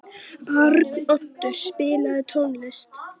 Arnoddur, spilaðu tónlist.